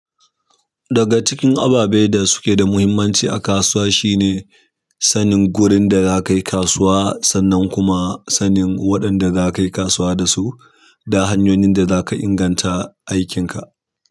Daga cikin ababe da suke da muhimmanci a kasuwa shine sanin gurin da za ka yi kasuwa, sannan kuma sanin waɗanda za ka yi kasuwa da su da hanyoyin da za ka inganta aikinka.